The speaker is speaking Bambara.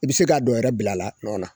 I bi se ka dɔ wɛrɛ bila la a nɔ na.